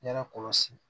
Ɲɛ kɔlɔsi